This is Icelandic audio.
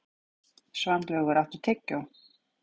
Svanlaugur, áttu tyggjó?